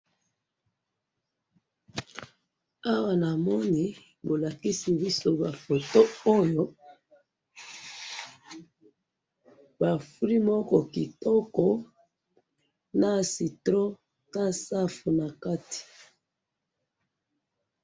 awa namoni bolakisi biso ba photo oyo ba fruit moko kitoko na citron na safu na kati